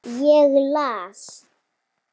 Ég las.